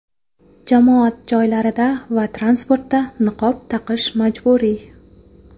Jamoat joylarida va transportda niqob taqish majburiy.